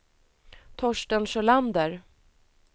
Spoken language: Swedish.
Torsten Sjölander